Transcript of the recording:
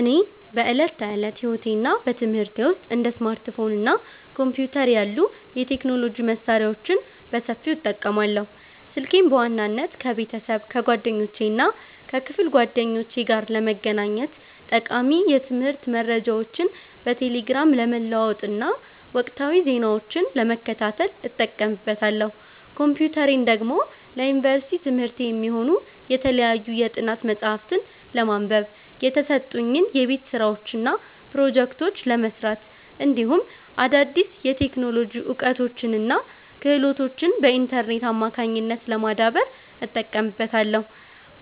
እኔ በዕለት ተዕለት ሕይወቴና በትምህርቴ ውስጥ እንደ ስማርትፎን እና ኮምፒውተር ያሉ የቴክኖሎጂ መሣሪያዎችን በሰፊው እጠቀማለሁ። ስልኬን በዋናነት ከቤተሰብ፣ ከጓደኞቼና ከክፍል ጓደኞቼ ጋር ለመገናኘት፣ ጠቃሚ የትምህርት መረጃዎችን በቴሌግራም ለመለዋወጥና ወቅታዊ ዜናዎችን ለመከታተል እጠቀምበታለሁ። ኮምፒውተሬን ደግሞ ለዩኒቨርሲቲ ትምህርቴ የሚሆኑ የተለያዩ የጥናት መጽሐፍትን ለማንበብ፣ የተሰጡኝን የቤት ሥራዎችና ፕሮጀክቶች ለመሥራት፣ እንዲሁም አዳዲስ የቴክኖሎጂ እውቀቶችንና ክህሎቶችን በኢንተርኔት አማካኝነት ለማዳበር እጠቀምበታለሁ።